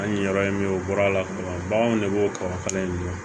An ye yɔrɔ in min ye u bɔr'a la fɔlɔ baganw de b'o kɔkɔ kala in dɔn